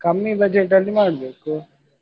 ಕಮ್ಮಿ budget ಅಲ್ಲಿ ಮಾಡ್ಬೇಕು.